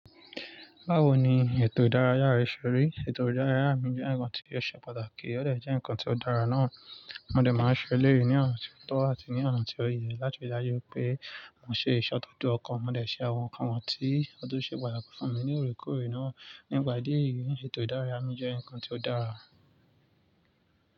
Báwo ni ètò ìdárayá rẹ ṣe rí? Ètò ìdárayá mi jẹ́ ǹkan tí ó ṣe pàtàkì, ó dẹ̀ jẹ́ ǹkan tí ó dára náà. Wọ́n dẹ̀ máa ń ṣe lérí ní ọ̀nà tí ó tó àti ní ọ̀nà tí ó yẹ láti rí dájú pé mọ̀ ṣe ìṣótọ̀ tó ọkàn. Mọ̀ dẹ̀ ṣe àwọn nǹkan tí ó tún ṣe pàtàkì fún mi ní òòrèkóòrè náà. Nígbà díè, ètò ìdárayá mi jẹ́ ǹkan tí ó dára.